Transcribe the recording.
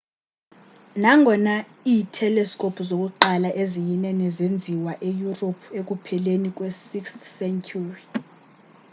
nangona i-telescopes zokuqala eziyinene zenziwa e-europe ekupheleni kwe 16th ye-century